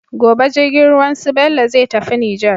Gobe jirgin ruwan su bello zai tafi niger